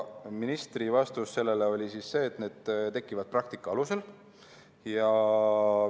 Ministri vastus oli see, et need tekivad praktika alusel.